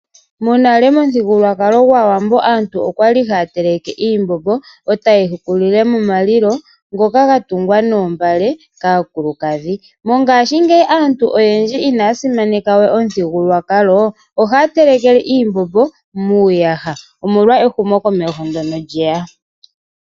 Monale momuthigululwakalo gwAawambo aantu okwa li haya teleke iimbombo eta ye yi hukulile momalilo ngoka ga tungwa noombale kaakulukadhi. Mongaashingeyi aantu oyendji ina ya simaneka we omuthigululwakaloo oha ya telekele iimbombo muuyaha omolwa ehumokomeho ndono lye ya.